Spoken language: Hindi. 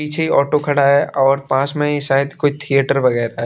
पीछे ही ऑटो खड़ा है और पास में ही शायद कोई थिएटर वगैरह है।